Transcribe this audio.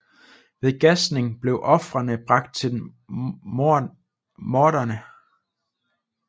Ved gasning blev ofrene bragt til morderne